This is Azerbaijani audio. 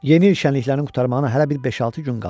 Yeni il şənliklərini qurtarmağa hələ bir beş-altı gün qalıb.